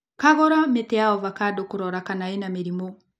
Kagũra mĩtĩ ya ovacando kũrora kana ĩna mĩrimũ.